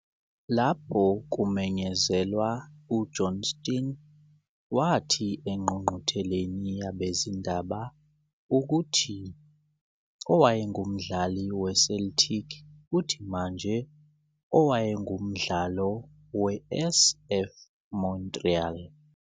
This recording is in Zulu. Lapho kumenyezelwa, uJohnston wathi engqungqutheleni yabezindaba ukuthi owayengumdlali we-Celtic futhi manje owayengumdlalo we-CF Montréal